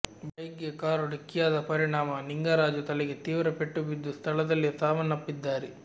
bike ಗೆ car ಡಿಕ್ಕಿಯಾದ ಪರಿಣಾಮ ನಿಂಗರಾಜು ತಲೆಗೆ ತೀವ್ರ ಪೆಟ್ಟು ಬಿದ್ದು ಸ್ಥಳದಲ್ಲೇ ಸಾವನ್ನಪ್ಪಿದ್ದಾರೆ